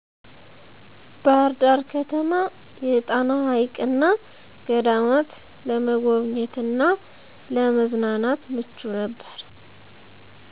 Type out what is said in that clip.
ባህርዳር ከተማ የጣና ሀይቅና ገዳማት ለመጎብኘት እና ለመዝናናት ምቹ ነበር